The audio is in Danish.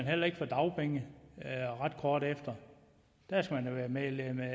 heller ikke få dagpenge ret kort efter man skal have været medlem af en a